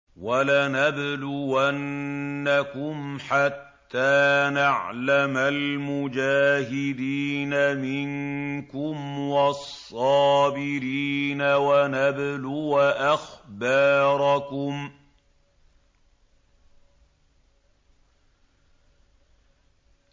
وَلَنَبْلُوَنَّكُمْ حَتَّىٰ نَعْلَمَ الْمُجَاهِدِينَ مِنكُمْ وَالصَّابِرِينَ وَنَبْلُوَ أَخْبَارَكُمْ